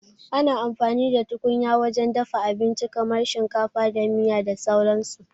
Ana amfani da tukunya wajen dafa abinci kamar shinkafa da miya da sauran su